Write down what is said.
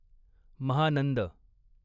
Mahanand